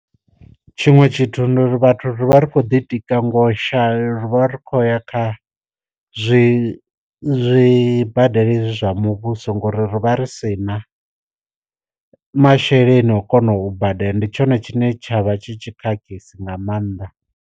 Tshiṅwe tshithu ndi uri vhathu rivha rikho ḓitika ngo ri vha ri khou ya kha zwi zwi zwibadela hezwi zwa muvhuso ngori ri vha ri si na masheleni o kona u badela, ndi tshone tshine tshavha tshi tshi khakhisi nga maanḓa.